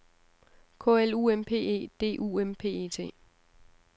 K L U M P E D U M P E T